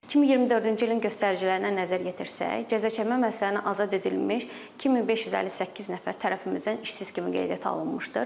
2024-cü ilin göstəricilərinə nəzər yetirsək, cəzaçəkmə müəssisələrini azad edilmiş 2558 nəfər tərəfimizdən işsiz kimi qeydiyyata alınmışdır.